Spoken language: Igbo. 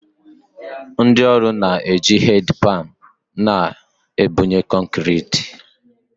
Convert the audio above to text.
Ndị ọrụ na-eji headpan na-ebunye kọnkịrịtị